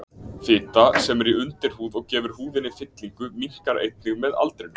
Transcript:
Fita, sem er í undirhúð og gefur húðinni fyllingu, minnkar einnig með aldrinum.